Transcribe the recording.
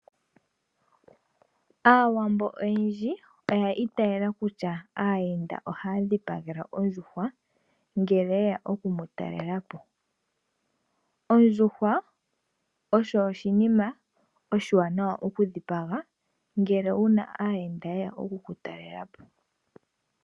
Aawambo oyendji oyi itayela kutya aayenda ohaa dhipagelwa ondjuhwa ngele ye ya okutalelapo. Ondjuhwa oyo oshikwamawawa oshiwaanawa okudhipagelwa aayenda.